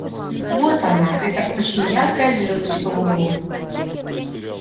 вот она эта очень яркая звёздочка в углу